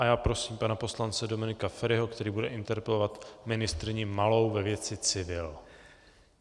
A já prosím pana poslance Dominika Feriho, který bude interpelovat ministryni Malou ve věci civil.